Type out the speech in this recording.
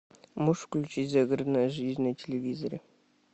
можешь включить загородная жизнь на телевизоре